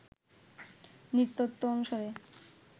নৃতত্ব অনুসারে